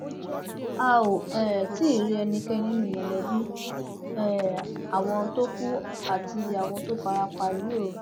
a ò um tí ì rí ẹnikẹni nínú mọlẹbí um àwọn tó kù àti àwọn tó fara pa yìí o